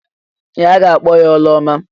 Ee! A ga-akpọ ya Ụlọma.